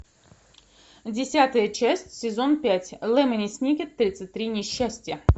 десятая часть сезон пять лемони сникет тридцать три несчастья